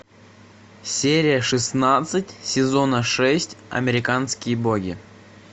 серия шестнадцать сезона шесть американские боги